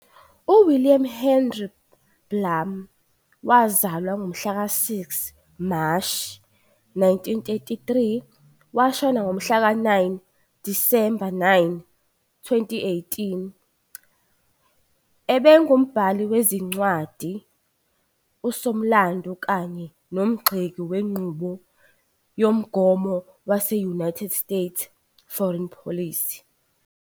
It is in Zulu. UWilliam Henry Blum, wazalwa ngomhlaka 6 ku Mashi, 1933 washona ngomhlaka 9 - Disemba 9, 2018, ubengumbhali wezincwadi, usomlandu, kanye nomgxeki wenqubo yomgomo wase-United States foreign policy.